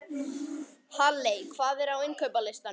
Halley, hvað er á innkaupalistanum mínum?